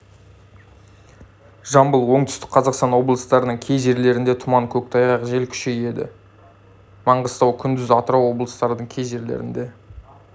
жамбыл оңтүстік қазақстан облыстарының кей жерлерінде тұман көктайғақ жел күшейеді маңғыстау күндіз атырау облыстарының кей жерлерінде